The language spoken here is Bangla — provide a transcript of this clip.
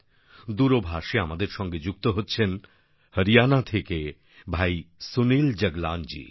দূরভাষে আমাদের সঙ্গে যুক্ত হচ্ছেন হরিয়ানা থেকে ভাই সুনিল জাগলানজি